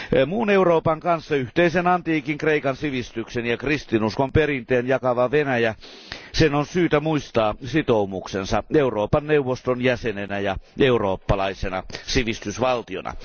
Muun Euroopan kanssa yhteisen antiikin Kreikan sivistyksen ja kristinuskon perinteen jakavan Venäjän on syytä muistaa sitoumuksensa Euroopan neuvoston jäsenenä ja eurooppalaisena sivistysvaltiona.